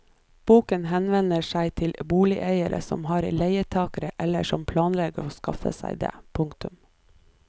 Boken henvender seg til boligeiere som har leietakere eller som planlegger å skaffe seg det. punktum